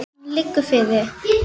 Nú var komið að því!